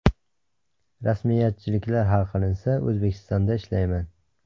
Rasmiyatchiliklar hal qilinsa, O‘zbekistonda ishlayman.